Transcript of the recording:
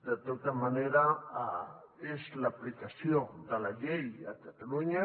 de tota manera és l’aplicació de la llei a catalunya